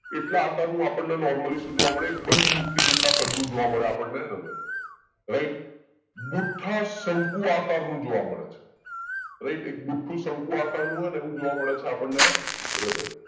એટલા આકારનું આપણે ને નોરમ્લી શું જોવા મળે એક બંધ મુઠ્ઠી જેટલા કદ નું જોવ મળે આપણને હૃદય રાઈટ બુઠ્ઠા શંકુ આકારનું જોવા મળે છે બુઠ્ઠું શંકુ આકારનું જોવા મળે છે આપણે આ હૃદય